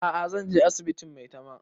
A'a zan je asibitin maitama